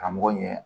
Karamɔgɔ ɲɛ